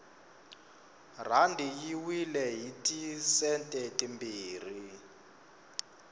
rhandi yi wile hiti sente timbirhi